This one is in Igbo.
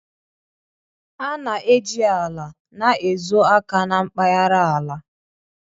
A na-eji ala na-ezo aka na mpaghara ala